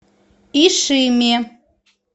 ишиме